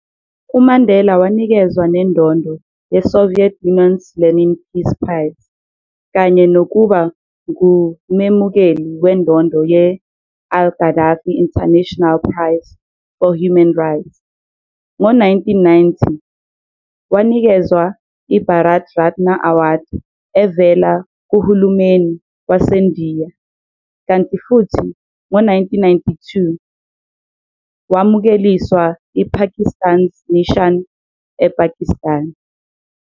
UMandela wanikezwa nendondo ye-Soviet Union's Lenin Peace Prize kanye nokuba ngumemukeli wendondo ye- Al-Gaddafi International Prize for Human Rights. Ngo 1990, wanikezwa i-Bharat Ratna Award evela kuhulumeni waseNdiya kanti futhi ngo 1992, wamukeliswa i-Pakistan's Nishan-e-Pakistan.